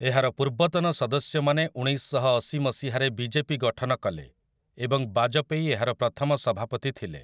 ଏହାର ପୂର୍ବତନ ସଦସ୍ୟମାନେ ଉଣେଇଶଶହଅଶି ମସିହାରେ ବିଜେପି ଗଠନ କଲେ, ଏବଂ ବାଜପେୟୀ ଏହାର ପ୍ରଥମ ସଭାପତି ଥିଲେ ।